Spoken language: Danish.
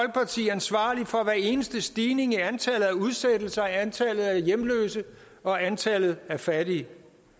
ansvarlig for hver eneste stigning i antallet af udsættelser og antallet af hjemløse og antallet af fattige